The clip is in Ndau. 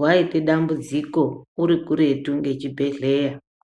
waita dambudziko uri kuretu ngechibhedhleya.